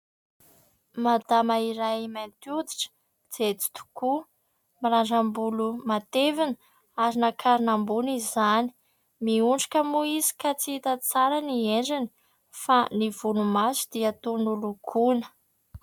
Madama iray mainty hoditra, jejo tokoa, mirandram-bolo matevina ary nankarina ambony izany. Miondrika moa izy ka tsy hita tsara ny endriny fa ny volomaso dia toa nolokoina.